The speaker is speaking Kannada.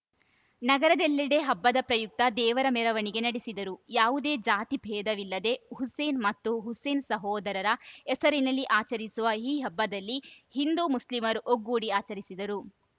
ನಗರದೆಲ್ಲೆಡೆ ಹಬ್ಬದ ಪ್ರಯುಕ್ತ ದೇವರ ಮೆರವಣಿಗೆ ನಡೆಸಿದರು ಯಾವುದೇ ಜಾತಿ ಭೇದವಿಲ್ಲದೇ ಹುಸೇನ್‌ ಮತ್ತು ಹುಸೇನ್‌ ಸಹೋದರರ ಹೆಸರಿನಲ್ಲಿ ಆಚರಿಸುವ ಈ ಹಬ್ಬದಲ್ಲಿ ಹಿಂದೂ ಮುಸ್ಲಿಂರು ಒಗ್ಗೂಡಿ ಆಚರಿಸಿದರು